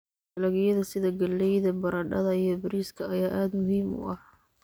Dalagyada sida galleyda, baradhada, iyo bariiska ayaa aad muhiim u ah.